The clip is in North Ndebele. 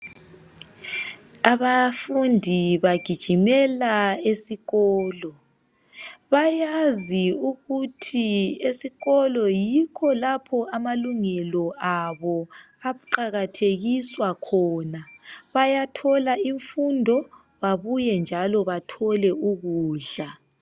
Abafundi bagijimela esikolo bayazi ukuthi esikolo yikho lapho amalungelo abo aqakathekiswa khona bayathola imfundo babuye njalo bathole ukudla.